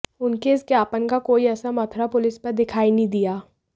उनके इस ज्ञापन का कोई असर मथुरा पुलिस पर दिखाई नहीं दिया